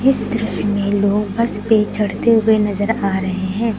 इस दृश्य में लोग बस पे चढ़ते हुए नजर आ रहे हैं।